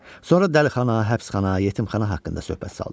Sonra dəlixana, həbsxana, yetimxana haqqında söhbət saldı.